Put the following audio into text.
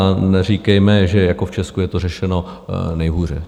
A neříkejme, že jako v Česku je to řešeno nejhůře.